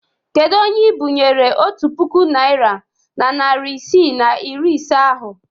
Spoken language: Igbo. Kedu onye ị bịnyere otu puku naịra na narị isii na iri ise ahụ?